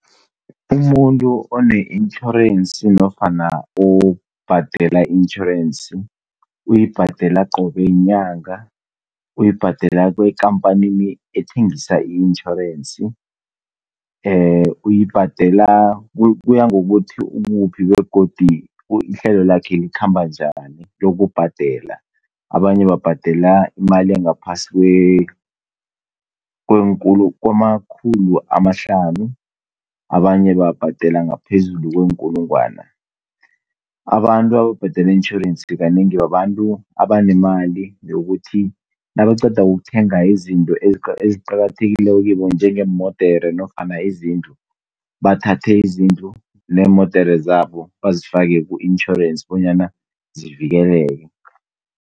Umuntu onetjhorensi nofana obhadela itjhorensi, uyibhadela qobe nyanga, uyibhadela ekampanini ethengisa itjhorensi, uyibhadela, kuyangokuthi ukuphi begodu ihlelo lakhe likhamba njani lokubhadela. Abanye babhadela imali engaphasi kwe kwamakhulu amahlanu, abanye babhadela ngaphezulu kweenkulungwane. Abantu ababhadela itjhorensi kanengi, babantu abanemali yokuthi nabaqeda ukuthenga izinto eziqakathekileko kibo njengeemodere nezindlu, bathathe izindlu neemodere zabo bonyana zivikeleke.